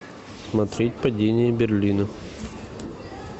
смотреть падение берлина